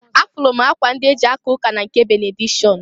Afụlụ akwa ndị e ji aka ụka na nke benedikshọn.